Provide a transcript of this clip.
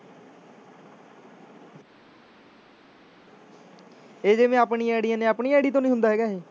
ਇਹ ਜਿਵੇਂ ਆਪਣੀਆਂ ਆਈਡੀਆਂ ਨੇ ਆਪਣੀ ID ਤੋਂ ਨੀ ਹੁੰਦਾ ਹੈਗਾ ਇਹ